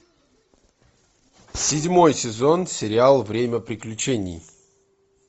седьмой сезон сериал время приключений